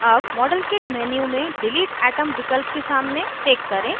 अब modelkit menu में delete atom विकल्प के सामने टिक करें